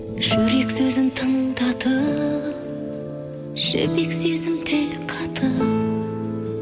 жүрек сөзін тыңдатып жібек сезім тіл қатып